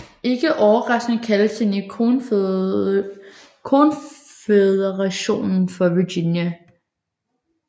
Ikke overraskende kaldtes den i Konføderationen for Virginia